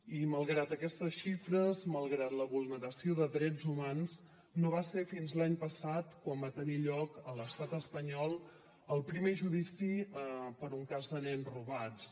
i malgrat aquestes xifres malgrat la vulneració de drets humans no va ser fins l’any passat quan va tenir lloc a l’estat espanyol el primer judici per un cas de nens robats